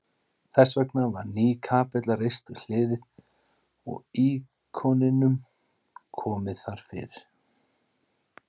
Þessvegna var ný kapella reist við hliðið og íkoninum komið þar fyrir.